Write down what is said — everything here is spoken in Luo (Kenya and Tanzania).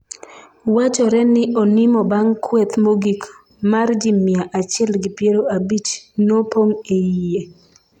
wachore ni onimo bang' kweth mogik mar ji mia achiel gi piero abich nopong' e iye